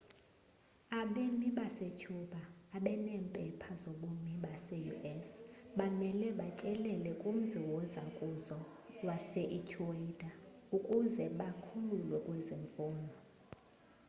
abemi basecuba abaneempepha zobumi base-us bamele batyelele kumzi wozakuzo wase-ecuador ukuze bakhululwe kwezi mfuno